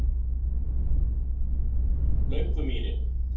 Löngumýri